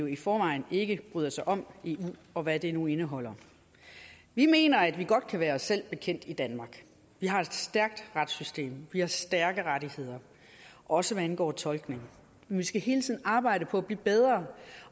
i forvejen ikke bryder sig om eu og hvad det nu indeholder vi mener at vi godt kan være os selv bekendt i danmark vi har et stærkt retssystem vi har stærke rettigheder også hvad angår tolkning vi skal hele tiden arbejde på at blive bedre